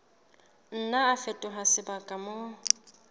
nna a fetoha sebaka moo